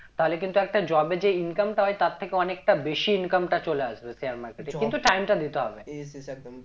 তাহলে কিন্তু একটা job এ যে income টা হয়ে তার থেকে অনেকটা বেশি income টা চলে আসবে share market এ কিন্তু time টা দিতে হবে